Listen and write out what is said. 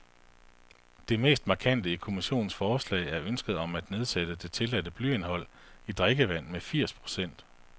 Det mest markante i kommissionens forslag er ønsket om at nedsætte det tilladte blyindhold i drikkevand med firs procent.